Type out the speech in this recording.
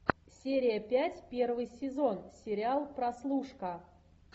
серия пять первый сезон сериал прослушка